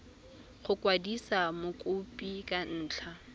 go kwadisa mokopi ka ntlha